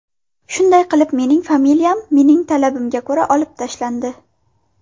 Shunday qilib, mening familiyam, mening talabimga ko‘ra olib tashlandi.